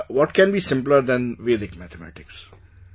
And what can be simpler than Vedic Mathematics